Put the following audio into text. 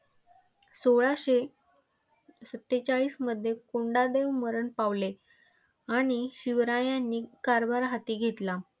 सोळाशे सत्तेचाळीसमध्ये कोंडदेव मरण पावले आणि शिवरायांनी कारभार हाती घेतला.